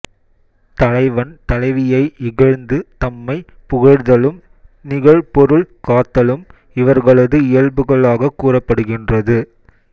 தலைவன் தலைவியை இகழ்ந்து தம்மைப் புகழ்தலும் நிகழ் பொருள் காத்தலும் இவர்களது இயல்புகளாகக் கூறப்படுகின்றது